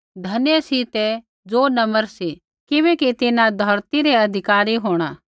धन्य सी ते ज़ो नम्र सी किबैकि तिन्हां धौरती रै अधिकारी होंणै